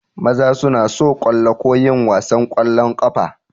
Maza suna so kallo ko yin wasan ƙwallon ƙafa.